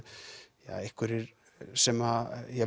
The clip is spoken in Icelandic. einhverjir sem